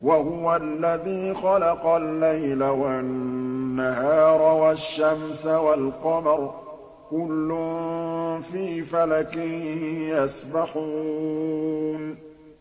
وَهُوَ الَّذِي خَلَقَ اللَّيْلَ وَالنَّهَارَ وَالشَّمْسَ وَالْقَمَرَ ۖ كُلٌّ فِي فَلَكٍ يَسْبَحُونَ